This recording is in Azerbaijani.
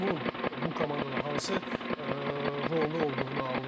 Onun bu komandada hansı rolda olduğunu anlayır.